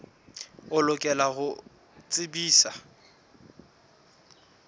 o lokela ho o tsebisa